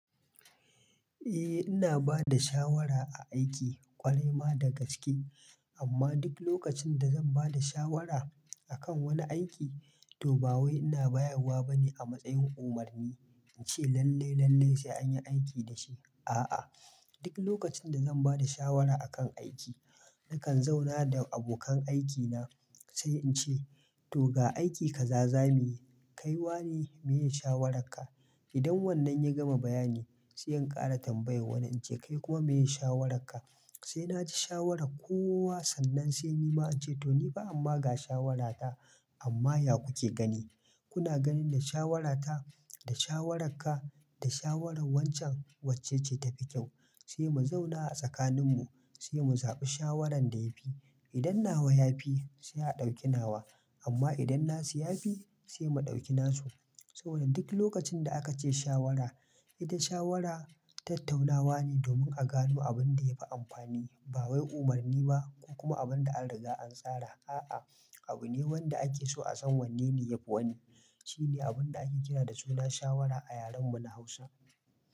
Eh ina bada shawara a aiki, ƙwarai ma da gaske amma duk lokacin da zan bada shawara akan wani aiki, to ba wai ina bayarwa bane a matsayin umarni, in ce lallai lallai sai anyi aiki da shi a'a duk lokacin da zan bada shawara akan aiki, nakan zauna da abokan aikina, sai in ce to ga aiki kaza zamuyi, kai wane meye shawararka? Idan wannan ya gama bayani sai in ƙara tambayar wani, in ce kai kuma meye shawararka? Sai naji shawarar kowa sannan sai nima in ce to nifa amma ga shawarata amma ya kuke gani? Kuna ganin da shawarata, da shawararka, da shawaran wancan, wacce ce tafi kyau? Sai mu zauna a tsakaninmu sai mu zaɓi shawaran da yafi, idan nawa yafi, sai a ɗauki nawa, amma idan nasu yafi, sai mu ɗauki nasu saboda duk lokacin da aka ce shawara ita shawara tattaunawa ne domin a gano abin da yafi amfani, ba wai umarni ba, ko kuma abin da an riga an tsara, a'a abu ne wanda ake so a san wanne ne yafi wani, shine abun da ake kira da suna shawara a yaren mu na hausa.